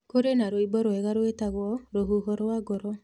Kũrĩ na rwĩmbo rwega rwĩtagwo "Rũhuho rwa ngoro"